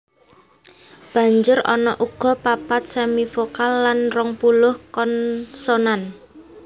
Banjur ana uga papat semivokal lan rongpuluh konsonan